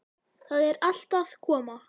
Það er allt að koma.